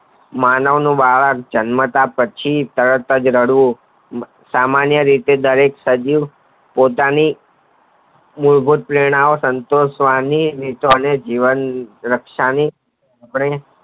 માનવ નું બાળક જન્મતા પછી તરતજ રડવું સામાન્ય રીતે દરેક સજીવ પોતાની મૂળભૂત પ્રેરના ના સંતોષવી અને જીવન રક્ષા ની